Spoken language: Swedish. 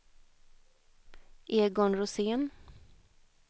Egon Rosén